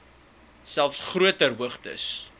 selfs groter hoogtes